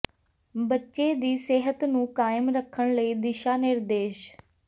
ਬੱਚੇ ਦੀ ਸਿਹਤ ਨੂੰ ਕਾਇਮ ਰੱਖਣ ਲਈ ਦਿਸ਼ਾ ਨਿਰਦੇਸ਼